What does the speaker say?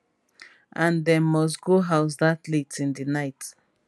and dem must go house dat late in di night